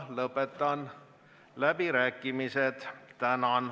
Lõpetan läbirääkimised.